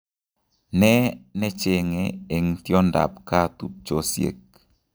Ne necheng'e eng' tiondab gaa tubchosiek